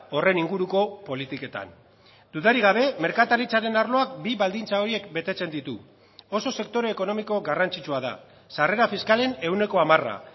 horren inguruko politiketan dudarik gabe merkataritzaren arloak bi baldintza horiek betetzen ditu oso sektore ekonomiko garrantzitsua da sarrera fiskalen ehuneko hamara